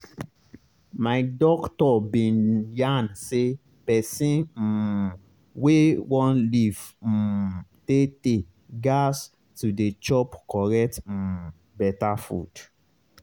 my doctor bin yarn say pesin um wey one live um tey-tey gas to dey chop correct um beta food